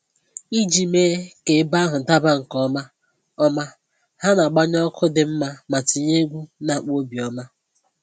Iji mee ka ebe ahụ daba nke ọma, ọma, ha na-agbanye ọkụ dị mma ma tinye egwu na-akpa obi ọma